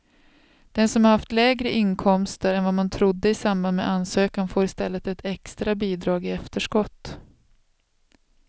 Den som har haft lägre inkomster än vad man trodde i samband med ansökan får i stället ett extra bidrag i efterskott.